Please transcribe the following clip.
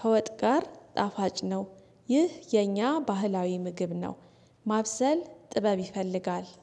ከወጥ ጋር ጣፋጭ ነው። ይህ የኛ ባህላዊ ምግብ ነው። ማብሰል ጥበብ ይፈልጋል